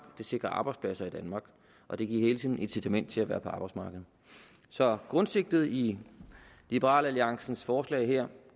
det sikrer arbejdspladser i danmark og det giver et incitament til at være på arbejdsmarkedet så grundsigtet i liberal alliances forslag her